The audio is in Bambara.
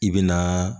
I bɛ na